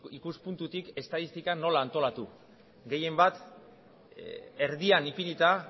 ikuspuntutik estatistika nola antolatu gehienbat erdian ipinita